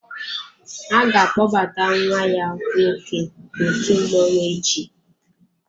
A ga-akpọbata ​​nwa ya nwoke n'òtù mmọnwụ echi.